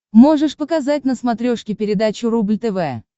можешь показать на смотрешке передачу рубль тв